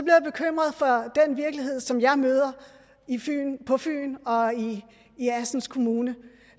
jeg bekymret for den virkelighed som jeg møder på fyn og i assens kommune